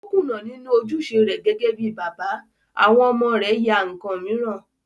O kùnà nínú ojúṣe rẹ̀ gẹ́gẹ́ bíi bàbá, àwọn ọmọ rẹ̀ ya ǹkan mìíràn